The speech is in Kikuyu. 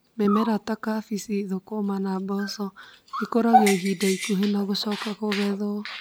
Mĩmera ta kabici, thũkũma na mboco ikũragio ihinda ikuhĩ na gũcoka kũgethwo